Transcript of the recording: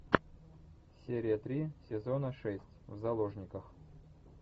серия три сезона шесть в заложниках